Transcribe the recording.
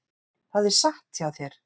Það er satt hjá þér.